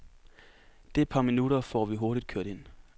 Det par minutter får vi hurtigt kørt ind.